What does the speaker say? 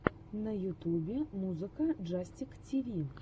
на ютубе музыка джастик тиви